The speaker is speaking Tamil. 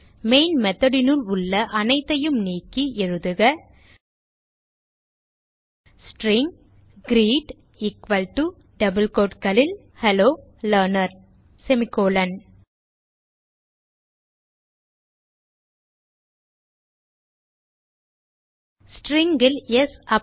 மெயின் method னுள் உள்ள அனைத்தையும் நீக்கி எழுதுக string greet equal to hello learner String ல் ஸ்